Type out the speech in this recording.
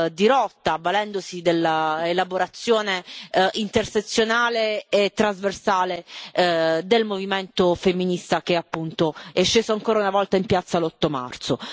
di rotta, avvalendosi della elaborazione intersezionale e trasversale del movimento femminista che, appunto, è sceso ancora una volta in piazza l'8 marzo.